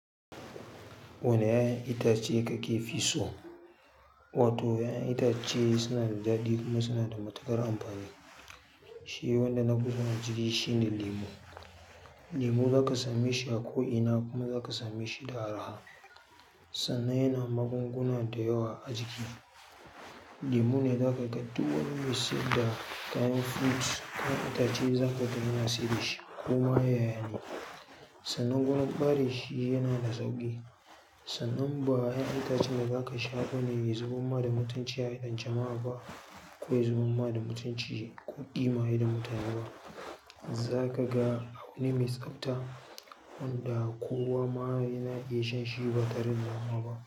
Wane 'ya'yan itace kake fi so? Wato 'ya'yan itace suna da daɗi kuma suna da matuƙar amfani. Shi wanda nafi so na shi shine lemo. Lemo za ka same shi a ko ina kuma za ka same shi da arha. Sannan yana magunguna da yawa a jiki. Lemo ne za ka ga duk wani mai siyar da kayan fruits kayan itace za ka ga yana sayar da shi koma yayana. Sannan kuma bare shi yana da sauƙi. Sannan ba 'ya'yan itace da za ka sha ɓane ya zubanma da mutanci a idon jama'a ba ko ya zubamma da mutunci ko ƙima idon mutane ba. Zakaga abu ne mai tsabta wanda kowa ma yana iya shan shi ba tare da damuwa ba.